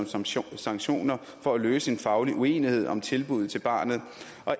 som som sanktioner for at løse en faglig uenighed om tilbuddet til barnet